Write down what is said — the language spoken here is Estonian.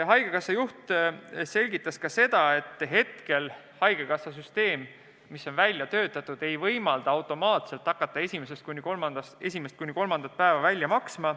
Haigekassa juht selgitas ka seda, et praegune haigekassa süsteem ei võimalda automaatselt hakata esimest kuni kolmandat päeva välja maksma.